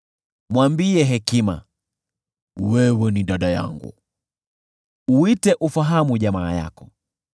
Mwambie hekima, “Wewe ni dada yangu,” uite ufahamu jamaa yako;